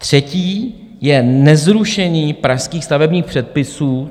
Třetí je nezrušení pražských stavebních předpisů.